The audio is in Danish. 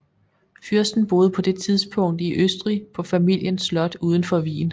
Fyrsten boede på det tidspunkt i Østrig på familiens slot udenfor Wien